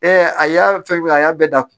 a y'a fɛn min a y'a bɛɛ da kuwa